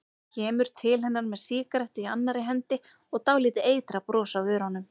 Kemur til hennar með sígarettu í annarri hendi og dálítið eitrað bros á vörunum.